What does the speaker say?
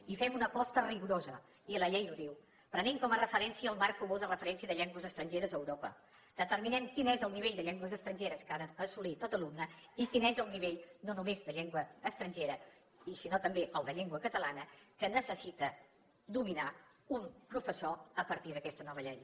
i fem una aposta rigorosa i la llei ho diu prenent com a referència el marc comú de referència de llengües estrangeres a europa determinem quin és el nivell de llengües estrangeres que ha d’assolir tot alumne i quin és el nivell no només de llengua estrangera i si no també el de llengua catalana que necessita dominar un professor a partir d’aquesta nova llei